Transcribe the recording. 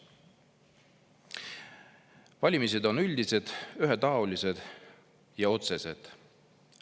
Valimised on üldised, ühetaolised ja otsesed.